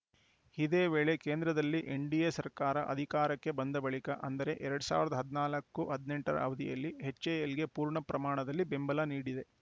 ಇದೇ ವೇಳೆ ಕೇಂದ್ರದಲ್ಲಿ ಎನ್‌ಡಿಎ ಸರ್ಕಾರ ಅಧಿಕಾರಕ್ಕೆ ಬಂದ ಬಳಿಕ ಅಂದರೆ ಎರಡ್ ಸಾವ ರದ ಹದ್ ನಾಲ್ಕು ಹದಿನೆಂಟ ರ ಅವಧಿಯಲ್ಲಿ ಎಚ್‌ಎಎಲ್‌ಗೆ ಪೂರ್ಣ ಪ್ರಮಾಣದಲ್ಲಿ ಬೆಂಬಲ ನೀಡಿದೆ